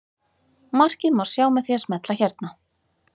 Markið má sjá með því að smella hérna.